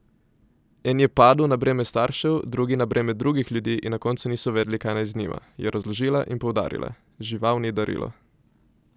En je padel na breme staršev, drugi na breme drugih ljudi in na koncu niso vedeli kaj naj z njima,' je razložila in poudarila: 'Žival ni darilo!